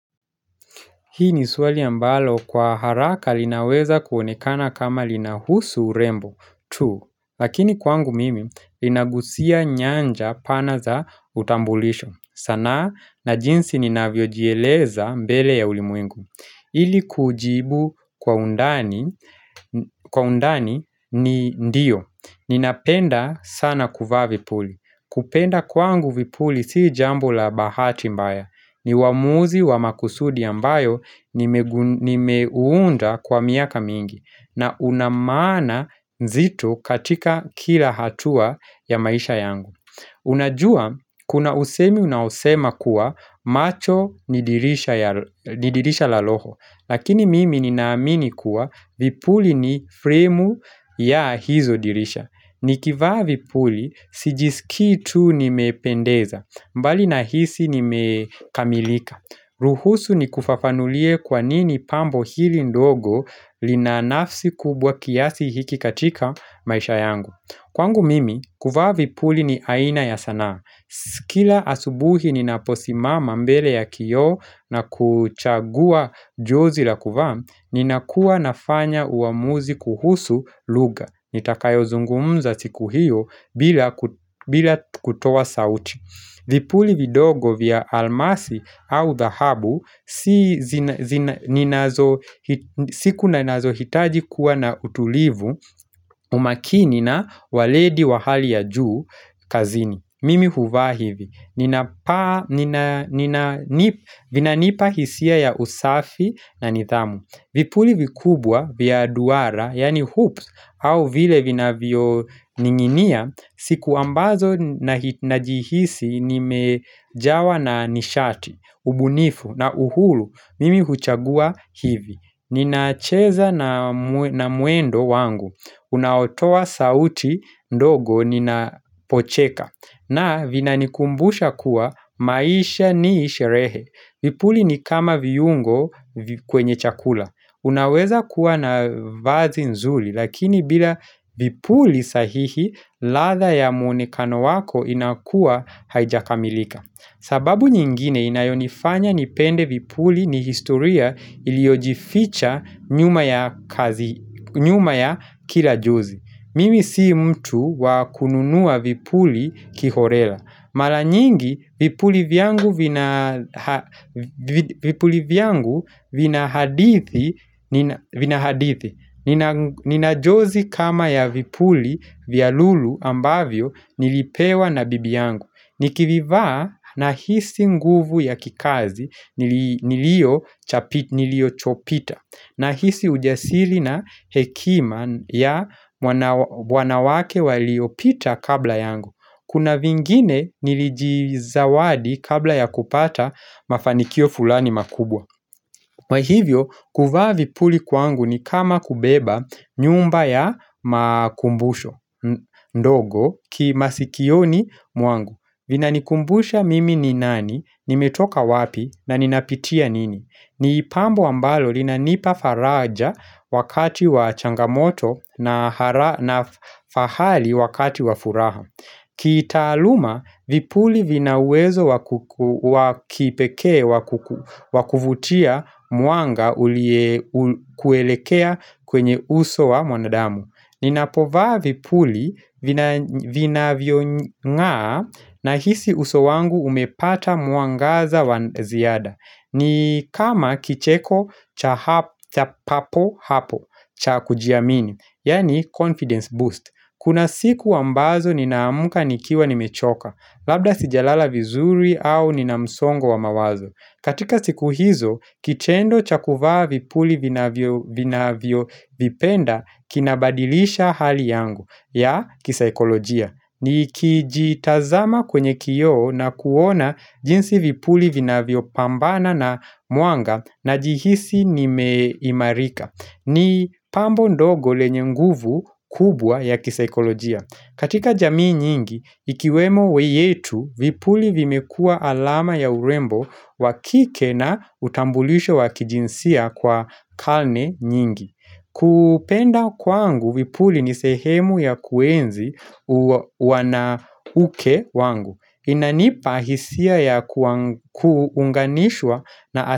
Hii ni swali ambalo kwa haraka linaweza kuonekana kama linahusu urembo, tu. Lakini kwangu mimi, inagusia nyanja pana za utambulisho. Sanaa na jinsi ni navyojieleza mbele ya ulimuingu. Ili kujibu kwa undani ni ndio. Ninapenda sana kuvaa vipuli. Kupenda kwangu vipuli si jambo la bahati mbaya. Ni waamuzi wa makusudi ambayo nimeuunda kwa miaka mingi na una maana zito katika kila hatua ya maisha yangu Unajua kuna usemi unaosema kuwa macho ni dirisha la roho Lakini mimi ninaamini kuwa vipuli ni fremu ya hizo dirisha Nikivaa vipuli sijiskii tuu ni mependeza mbali na hisi nimekamilika ruhusu ni kufafanulie kwanini pambo hili ndogo lina nafsi kubwa kiasi hiki katika maisha yangu Kwangu mimi, kuvaa vipuli ni aina ya sanaa Sikila asubuhi ninaposimama mbele ya kio na kuchagua jozi la kuvaa Ninakuwa nafanya uamuzi kuhusu lugha nitakayo zungumza siku hiyo bila kutoa sauchi vipuli vidogo vya almasi au dhahabu siku ninazo hitaji kuwa na utulivu umakinina waledi wahali ya juu kazini. Mimi huvahivi. Vina nipa hisia ya usafi na nidhamu. Vipuli vikubwa vya duara, yani hoops, au vile vina vio ninginia, siku ambazo najihisi nimejawa na nishati, ubunifu na uhuru, mimi huchagua hivi. Ninacheza na mwendo wangu, unaotoa sauti ndogo ninapocheka, na vinanikumbusha kuwa maisha ni sherehe. Vipuli ni kama viyungo kwenye chakula. Unaweza kuwa na vazi nzuli lakini bila vipuli sahihi ladha ya muonekano wako inakua haijakamilika. Sababu nyingine inayonifanya nipende vipuli ni historia iliojificha nyuma ya kila jozi. Mimi si mtu wakununua vipuli kihorela Mara nyingi vipuli vyangu vina hadithi Nina jozi kama ya vipuli vya lulu ambavyo nilipewa na bibi yangu Nikivivaa na hisi nguvu ya kikazi nilio chopita na hisi ujasili na hekima ya wanawake waliopita kabla yangu Kuna vingine nilijizawadi kabla ya kupata mafanikio fulani makubwa Mahivyo, kuvaa vipuli kwangu ni kama kubeba nyumba ya makumbusho ndogo ki masikioni mwangu vina nikumbusha mimi ni nani, nimetoka wapi na ninapitia nini. Ni ipambo ambalo linanipa faraja wakati wa changamoto na fahali wakati wa furaha. Kitaaluma, vipuli vinawezo wakipeke wakuvutia mwanga ulie kuelekea kwenye uso wa mwanadamu. Ninapovaa vipuli vinavyongaa na hisi uso wangu umepata mwangaza wa ziada. Ni kama kicheko cha papo hapo cha kujiamini, yaani confidence boost. Kuna siku wambazo ninaamka nikiwa nimechoka, labda sijalala vizuri au ninamsongo wa mawazo. Katika siku hizo, kitendo cha kuvaa vipuli vinavyo vipenda kinabadilisha hali yangu, ya kisikolojia. Ni kijitazama kwenye kioo na kuona jinsi vipuli vinavyo pambana na mwanga na jihisi ni meimarika ni pambo ndogo lenye nguvu kubwa ya kisikolojia katika jamii nyingi, ikiwemo weyetu vipuli vimekua alama ya urembo wakike na utambulisho wakijinsia kwa kalne nyingi kupenda kwangu vipuli ni sehemu ya kuenzi wanauke wangu inanipa hisia ya kuunganishwa na ase.